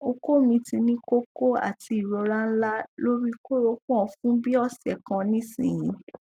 oko mi ti ni koko ati irora nla lori koropon fun bi ose kan nisin